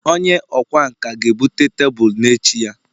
onye ọkwá nkà ga-ebute tebụl n'echi ya